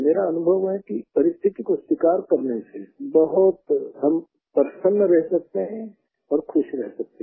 मेरा अनुभव है कि परिस्थिति को स्वीकार करने से बहुत हम प्रसन्न रह सकते हैं और खुश रह सकते हैं